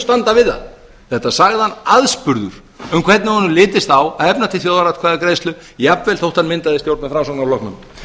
standa við það þetta sagði hann aðspurður um hvernig honum litist á að efna til þjóðaratkvæðagreiðslu jafnvel þó hann myndaði stjórn með framsóknarflokknum